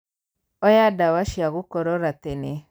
Oya ndawa cia gũkorora tene.